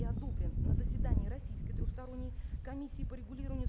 и одобрен на заседание российской трёхсторонней комиссии по регулированию